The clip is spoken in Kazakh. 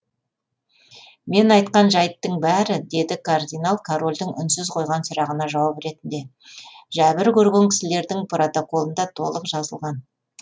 мен айтқан жәйттің бәрі деді кардинал корольдің үнсіз қойған сұрағына жауап ретінде жәбір көрген кісілердің протоколында толық жазылған